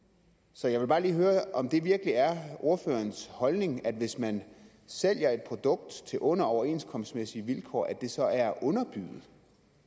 så jeg vil bare lige høre om det virkelig er ordførerens holdning at hvis man sælger et produkt til under overenskomstmæssige vilkår så er det at underbyde